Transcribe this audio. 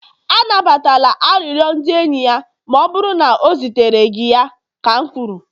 anabatala arịrịọ ndị enyi ya ma ọ bụrụ na o zitere gị ya ka m kwuru!